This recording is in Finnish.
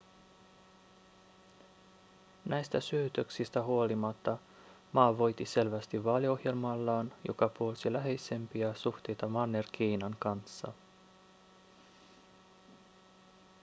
näistä syytöksistä huolimatta ma voitti selvästi vaaliohjelmallaan joka puolsi läheisempiä suhteita manner-kiinan kanssa